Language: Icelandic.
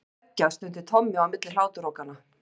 Geggjað stundi Tommi á milli hláturrokanna.